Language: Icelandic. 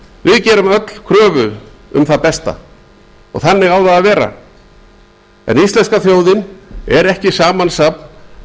við gerum öll kröfu um það besta og þannig á það að vera en íslenska þjóðin er ekki samansafn